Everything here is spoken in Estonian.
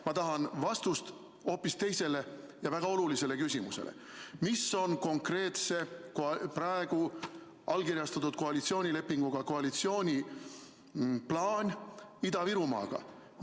Ma tahan vastust hoopis teisele ja väga olulisele küsimusele: mis on konkreetselt praegu allkirjastatud koalitsioonilepingu kohaselt koalitsiooni plaan Ida-Virumaaga?